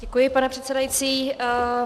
Děkuji, pane předsedající.